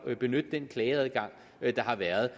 at benytte den klageadgang der har været